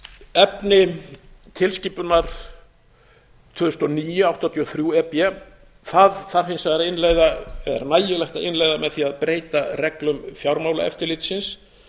efni tilskipunar tvö þúsund og níu áttatíu og þrjú e b þarf hins vegar að innleiða eða er nægilegt að innleiða með því að breyta reglum fjármálaeftirlitsins